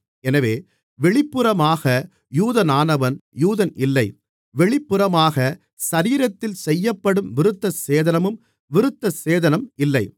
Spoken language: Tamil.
எனவே வெளிப்புறமாக யூதனானவன் யூதன் இல்லை வெளிப்புறமாக சரீரத்தில் செய்யப்படும் விருத்தசேதனமும் விருத்தசேதனம் இல்லை